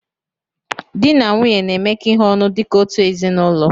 Dị na nwunye na-emekọ ihe ọnụ dịka otu ezinaụlọ